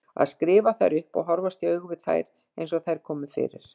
Að skrifa þær upp og horfast í augu við þær eins og þær komu fyrir.